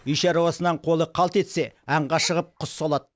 үй шаруасынан қолы қалт етсе аңға шығып құс салады